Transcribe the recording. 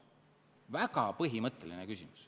Väga põhimõtteline küsimus.